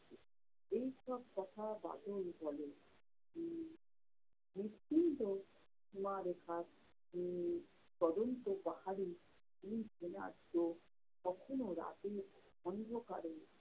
এই সব কথা বাদল বলে। উম বিস্তীর্ণ সীমারেখার উম পাহাড়ি কখনও রাতের অন্ধকারে